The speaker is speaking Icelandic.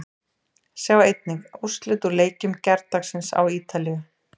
Sjá einnig: Úrslit úr leikjum gærdagsins á Ítalíu